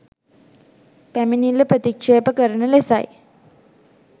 පැමිණිල්ල ප්‍රතික්ෂේප කරන ලෙසයි